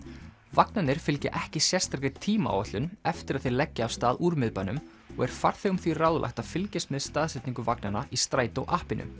vagnarnir fylgja ekki sérstakri tímaáætlun eftir að þeir leggja af stað úr miðbænum og er farþegum því ráðlagt að fylgjast með staðsetningu vagnanna í Strætó